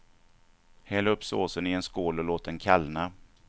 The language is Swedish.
Häll upp såsen i en skål och låt den kallna.